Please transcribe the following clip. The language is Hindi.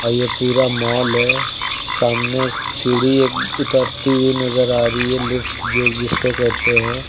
पूरा मॉल है सामने सीढ़ी एक उतरती हुई नजर आ रही है लिफ्ट जो जिसको कहते हैं।